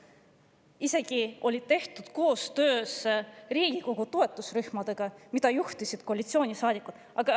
Isegi koostöös Riigikogu toetusrühmadega, mida juhtisid koalitsioonisaadikud.